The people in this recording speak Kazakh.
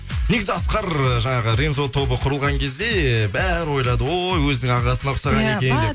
негізі асқар жаңағы рензо тобы құрылған кезде бәрі ойлады ой өзінің ағасына ұқсаған екен деп